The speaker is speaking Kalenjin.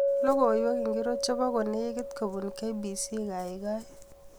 Logoiwek ingircho chebo kolekit kobun K.B.C kaikai